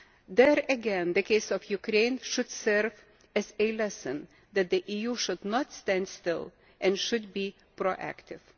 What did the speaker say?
There again, the case of Ukraine should serve as a lesson that the EU should not stand still and should be proactive.